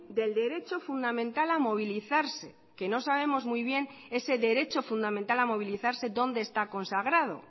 del derecho fundamental a movilizarse que no sabemos muy bien ese derecho fundamental a movilizarse dónde está consagrado